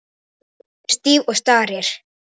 Hún stendur stíf og starir.